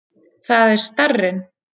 Það er starrinn.